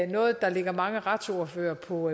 noget der ligger mange retsordførere på